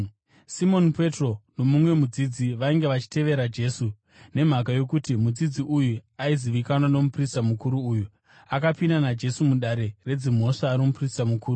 Simoni Petro nomumwe mudzidzi vainge vachitevera Jesu. Nemhaka yokuti mudzidzi uyu aizivikanwa nomuprista mukuru uyu, akapinda naJesu mudare redzimhosva romuprista mukuru,